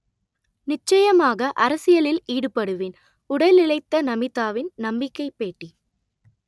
நிச்சயமாக அரசியலில் ஈடுபடுவேன் உடல் இளைத்த நமிதாவின் நம்பிக்கை பேட்டி